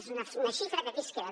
és una xifra que aquí es queda